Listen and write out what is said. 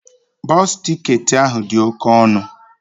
Bọsụ ticketị ahụ dị oke ọnụ